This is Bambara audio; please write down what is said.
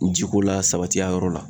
Ji ko la sabati a yɔrɔ la.